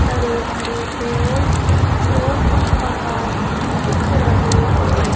हरे भरे पेड़ और कुछ मकान भी दिख रहे है।